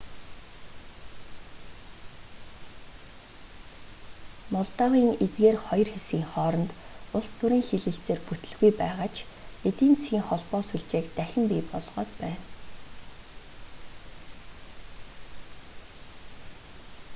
молдовын эдгээр хоёр хэсгийн хооронд улс төрийн хэлэлцээр бүтэлгүй байгаа ч эдийн засгийн холбоо сүлжээг дахин бий болгоод байна